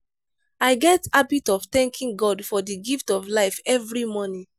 i get habit of thanking god for di gift of life every morning.